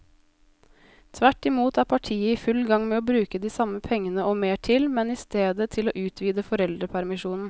Tvert imot er partiet i full gang med å bruke de samme pengene og mer til, men i stedet til å utvide foreldrepermisjonen.